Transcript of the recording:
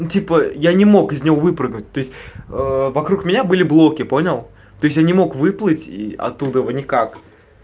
типа я не мог из него выпрыгнуть то есть вокруг меня были блоки понял ты все не мог выплатить и оттуда никак